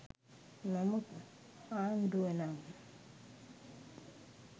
නමුත් ආණ්ඩුව නම්